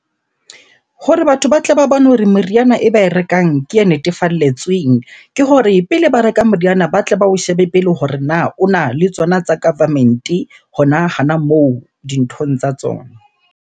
Hore batho ba tle ba bone hore meriana e ba e rekang ke e netefalletsweng. Ke hore pele ba reka moriana ba tle ba o shebe pele hore na o na le tsona tsa government-e hona, hona moo dinthong tsa tsona.